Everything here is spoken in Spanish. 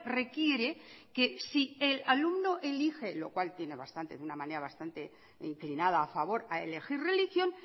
requiere que si el alumno elije lo cual tiene bastante de una manera bastante inclinada a favor a elegir religión